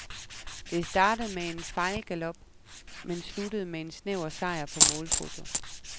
Det startede med en fejlgalop, men sluttede med en snæver sejr på målfoto.